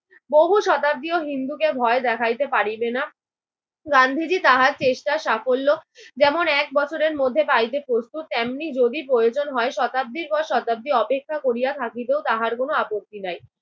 বহু শতাব্দীও হিন্দুকে ভয় দেখাইতে পারিবেনা। গান্ধীজি তাহার চেষ্টা সাফল্য যেমন এক বছরের মধ্যে পাইতে প্রস্তুত, তেমনি যদি প্রয়োজন হয় শতাব্দীর পর শতাব্দী অপেক্ষা করিয়া থাকিতেও তাহার কোনো আপত্তি নাই।